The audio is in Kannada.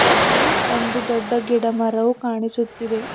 ಮತ್ತು ಒಂದು ದೊಡ್ಡ ಗಿಡಮರವು ಕಾಣಿಸುತ್ತಿದೆ.